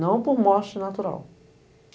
Não por morte natural.